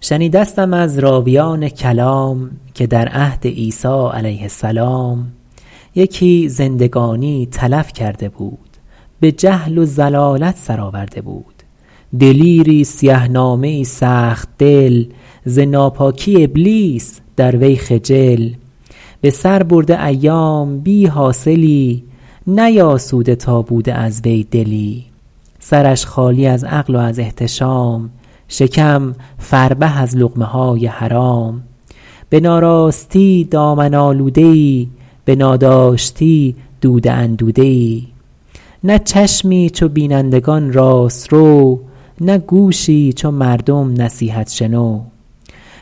شنیدستم از راویان کلام که در عهد عیسی علیه السلام یکی زندگانی تلف کرده بود به جهل و ضلالت سر آورده بود دلیری سیه نامه ای سخت دل ز ناپاکی ابلیس در وی خجل به سر برده ایام بی حاصلی نیاسوده تا بوده از وی دلی سرش خالی از عقل و از احتشام شکم فربه از لقمه های حرام به ناراستی دامن آلوده ای به ناداشتی دوده اندوده ای نه چشمی چو بینندگان راست رو نه گوشی چو مردم نصیحت شنو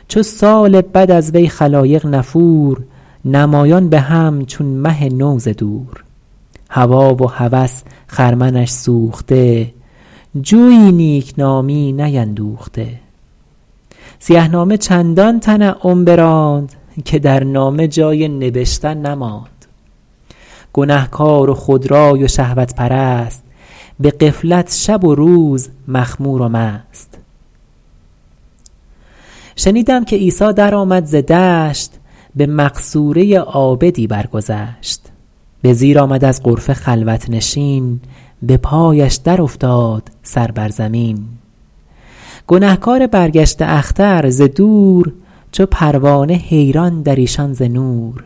چو سال بد از وی خلایق نفور نمایان به هم چون مه نو ز دور هوی و هوس خرمنش سوخته جوی نیکنامی نیندوخته سیه نامه چندان تنعم براند که در نامه جای نبشتن نماند گنهکار و خودرای و شهوت پرست به غفلت شب و روز مخمور و مست شنیدم که عیسی در آمد ز دشت به مقصوره عابدی برگذشت به زیر آمد از غرفه خلوت نشین به پایش در افتاد سر بر زمین گنهکار برگشته اختر ز دور چو پروانه حیران در ایشان ز نور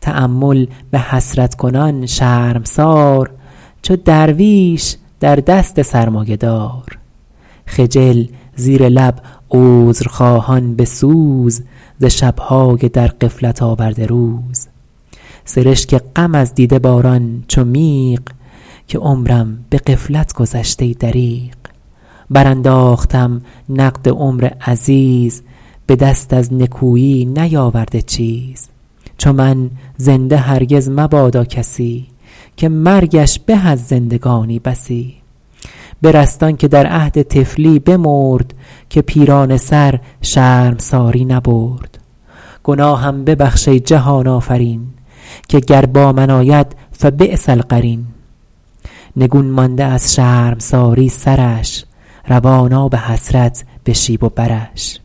تأمل به حسرت کنان شرمسار چو درویش در دست سرمایه دار خجل زیر لب عذرخواهان به سوز ز شبهای در غفلت آورده روز سرشک غم از دیده باران چو میغ که عمرم به غفلت گذشت ای دریغ بر انداختم نقد عمر عزیز به دست از نکویی نیاورده چیز چو من زنده هرگز مبادا کسی که مرگش به از زندگانی بسی برست آن که در عهد طفلی بمرد که پیرانه سر شرمساری نبرد گناهم ببخش ای جهان آفرین که گر با من آید فبیس القرین نگون مانده از شرمساری سرش روان آب حسرت به شیب و برش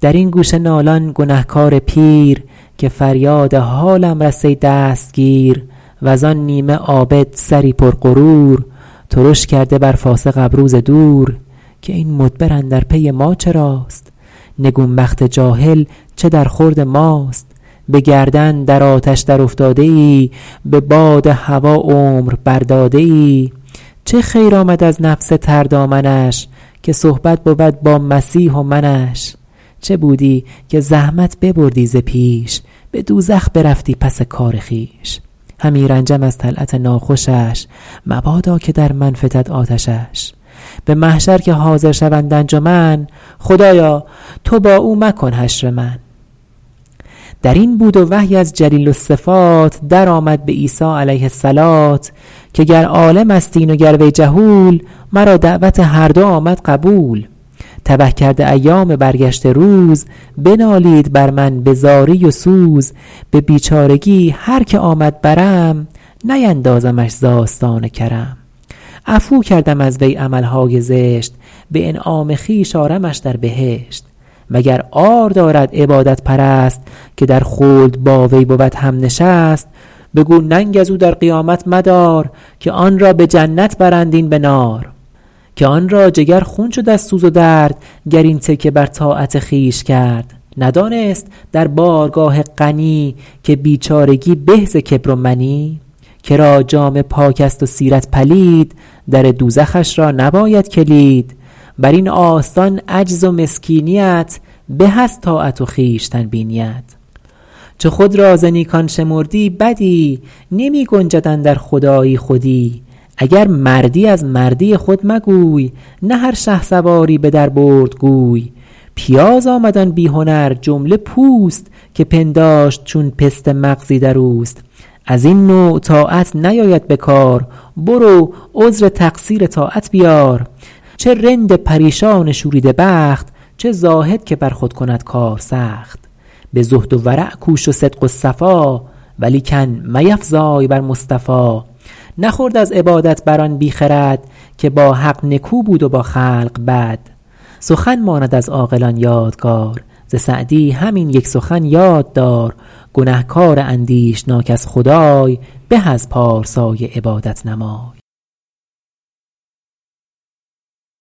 در این گوشه نالان گنهکار پیر که فریاد حالم رس ای دستگیر وز آن نیمه عابد سری پر غرور ترش کرده بر فاسق ابرو ز دور که این مدبر اندر پی ما چراست نگون بخت جاهل چه در خورد ماست به گردن در آتش در افتاده ای به باد هوی عمر بر داده ای چه خیر آمد از نفس تر دامنش که صحبت بود با مسیح و منش چه بودی که زحمت ببردی ز پیش به دوزخ برفتی پس کار خویش همی رنجم از طلعت ناخوشش مبادا که در من فتد آتشش به محشر که حاضر شوند انجمن خدایا تو با او مکن حشر من در این بود و وحی از جلیل الصفات در آمد به عیسی علیه الصلوة که گر عالم است این و گر وی جهول مرا دعوت هر دو آمد قبول تبه کرده ایام برگشته روز بنالید بر من به زاری و سوز به بیچارگی هر که آمد برم نیندازمش ز آستان کرم عفو کردم از وی عملهای زشت به انعام خویش آرمش در بهشت و گر عار دارد عبادت پرست که در خلد با وی بود هم نشست بگو ننگ از او در قیامت مدار که آن را به جنت برند این به نار که آن را جگر خون شد از سوز و درد گر این تکیه بر طاعت خویش کرد ندانست در بارگاه غنی که بیچارگی به ز کبر و منی کرا جامه پاک است و سیرت پلید در دوزخش را نباید کلید بر این آستان عجز و مسکینیت به از طاعت و خویشتن بینیت چو خود را ز نیکان شمردی بدی نمی گنجد اندر خدایی خودی اگر مردی از مردی خود مگوی نه هر شهسواری به در برد گوی پیاز آمد آن بی هنر جمله پوست که پنداشت چون پسته مغزی در اوست از این نوع طاعت نیاید به کار برو عذر تقصیر طاعت بیار چه رند پریشان شوریده بخت چه زاهد که بر خود کند کار سخت به زهد و ورع کوش و صدق و صفا ولیکن میفزای بر مصطفی نخورد از عبادت بر آن بی خرد که با حق نکو بود و با خلق بد سخن ماند از عاقلان یادگار ز سعدی همین یک سخن یاد دار گنهکار اندیشناک از خدای به از پارسای عبادت نمای